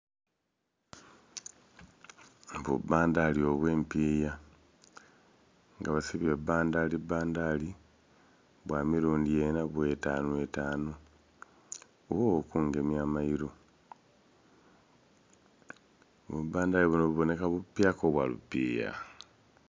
Bubbandhali obwempiya nga basibye bubbandhali bbanhali bwamirundhi enha bweetanhu etanhu ghoo okungemya amairu bubbandhali buno bubonheka bupyaka obwa lupiya